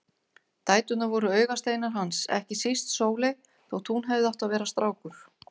Dæturnar voru augasteinar hans, ekki síst Sóley þótt hún hefði átt að vera strákur.